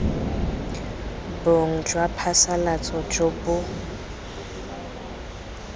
bong jwa diphasalatso jo bo